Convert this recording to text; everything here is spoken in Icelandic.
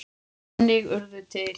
Þannig urðu til